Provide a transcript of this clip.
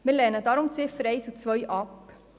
Wir lehnen deshalb die Ziffern 1 und 2 ab.